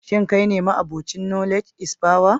Shin kai ne ma'abocin knowledge is power?